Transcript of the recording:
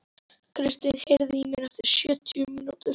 Kristin, heyrðu í mér eftir sjötíu mínútur.